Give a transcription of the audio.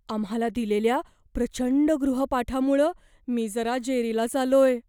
आम्हाला दिलेल्या प्रचंड गृहपाठामुळं मी जरा जेरीलाच आलोय.